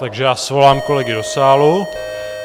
Takže já svolám kolegy do sálu.